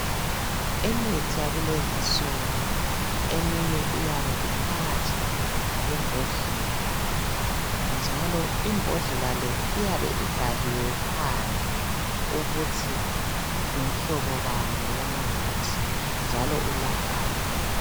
Imithi yakulezi nsuku eminye iyabe iphakathi kwembodlela njalo imbodlela le iyabe ibhaliwe phandle ukuthi ngumhlobo bani womuthi njalo ulaphani.